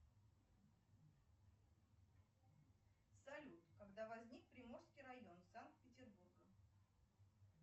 салют когда возник приморский район санкт петербурга